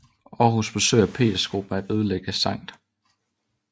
I Aarhus forsøger Petergruppen at ødelægge Skt